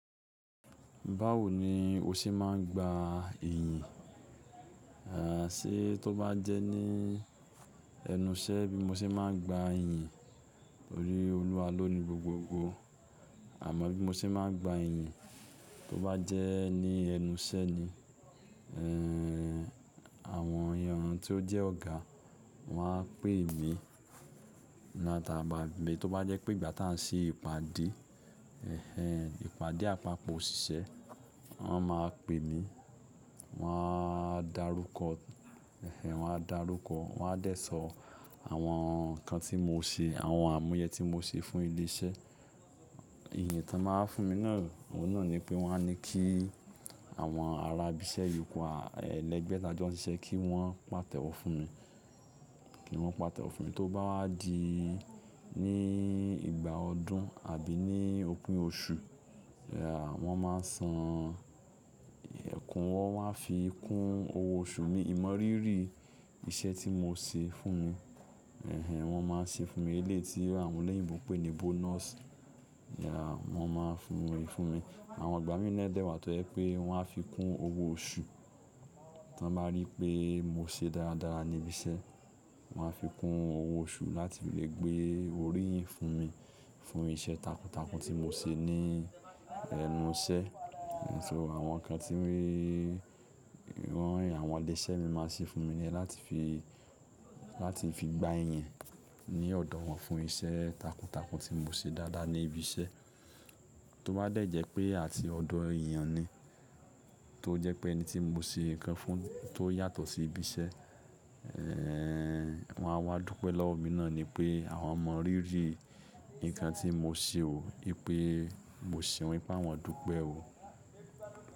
Báwo ni o ṣe máa ń gba ìyìn? Ṣe tó bá jẹ́ ní ẹnu iṣẹ́ bí mo ṣe máa ń gba ìyìn. Torí Olúwa ló ni gbogbo ogò. Àmọ bí mo ṣe máa ń gba ìyìn tó bá jẹ́ ní ẹnu iṣẹ́ ni. Ehn, àwọn ẹye ọ̀run tí ó jẹ́ ọ̀gá wọn á pè mí. Wọn máa tà bà bé. Tó bá jẹ́ pé ìgbà tá a ṣe ìpàdé, ẹhẹ̀n, ìpàdé apapo òṣìṣẹ́, wọ́n máa pè mí. Wọ́n á darúkọ, ẹhẹ̀n, wọ́n á darúkọ, wọ́n á dẹ sọ àwọn ǹkan tí mo ṣe, àwọn àmúyẹ tí mo ṣe fún ilé iṣẹ́. Ìyìn tí wọ́n máa ń fún mi náà, òun náà ni pé wọ́n á ni kí àwọn ará ibi iṣẹ́ yòókù ẹlẹ́gbẹ́ ta ọjọ́ sí iṣẹ́ kí wọ́n pàtẹ́wọ́ fún mi, kí wọ́n pàtẹ́wọ́ fún mi. Tó bá wá di ní ìgbà ọdún àbí ní òpin oṣù, ya, wọ́n máa san ẹ̀kúnwọ́, wọ́n a fi kún owó oṣù mi. Ìmọrírì iṣẹ́ tí mo ṣe fún wọn, ẹhẹ̀n, wọ́n máa ṣe fún mi. Eléyìítí àwọn oloyìnbo pè ní bonus, ya, wọ́n máa ń fún mi fún mi. Àwọn ìgbà mi nílẹ̀ dẹ wà tó jẹ pé wọ́n á fi kún owó oṣù. Tí wọ́n bá rí pé mo ṣe dáradára ní ibi iṣẹ́, wọ́n á fi kún owó oṣù láti lè gbé orí fún mi, fún iṣẹ́ takuntakun tí mo ṣe ní ẹnu iṣẹ́. Nìtò àwọn ǹkan tí mi wọ́n àwọn ọlẹ iṣẹ́ mi máa ṣe fún mi ní ẹ láti fi, láti fi gba ìyìn ní ọ̀dọ̀ wọn fún iṣẹ́ takuntakun tí mo ṣe dáadáa ní ibi iṣẹ́. Tó bá dẹ̀ jẹ́ pé àti ọ̀dọ̀ èèyàn ni, tó jẹ́ pé ẹni tí mo ṣe nǹkan fún tó yàtọ̀ sí ibi iṣẹ́, eh ẹhn, wọ́n á wá dúpẹ́ lọ́wọ́ mi náà ni pé àwọn mọrírì ǹkan tí mo ṣe o, pé mo ṣe ohun tí wọ́n dúpẹ́ o.